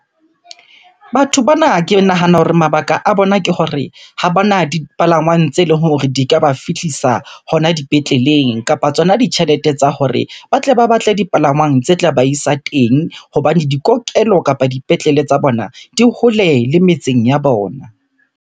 Batho bana ke nahana hore mabaka a bona ke hore ha bana dipalangwang tse leng hore di ka ba fihlisa hona dipetleleng. Kapa tsona ditjhelete tsa hore ba tle ba batle dipalangwang tse tla ba isa teng hobane di kokelo kapa dipetlele tsa bona di hole le metseng ya bona.